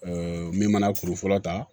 min mana kuru fɔlɔ ta